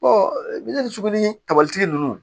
kabalitigi nunnu